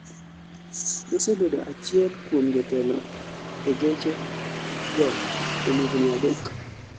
Nosebedo achiel kuom jotelo e geche go kuom higni adek